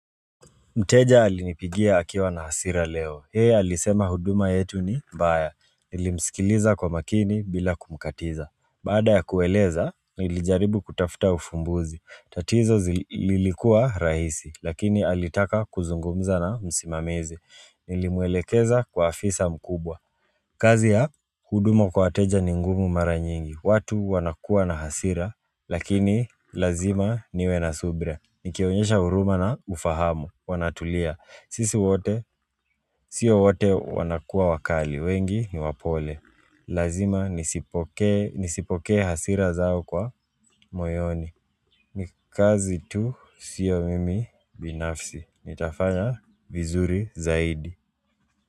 Mteja alinipigia akiwa na hasira leo. Yeye alisema huduma yetu ni mbaya. Nilimsikiliza kwa makini bila kumkatiza. Baada ya kueleza, nilijaribu kutafuta ufumbuzi. Tatizo zi lilikuwa rahisi, lakini alitaka kuzungumza na msimamizi. Nilimwelekeza kwa afisa mkubwa. Kazi ya huduma kwa wateja ni ngumu mara nyingi, watu wanakuwa na hasira, lakini lazima niwe na subira Nikionyesha huruma na ufahamu, wanatulia, sisi wote, sio wote wanakuwa wakali, wengi niwapole Lazima nizipokee hasira zao kwa moyoni Nikazi tu sio mimi binafsi, nitafanya vizuri zaidi.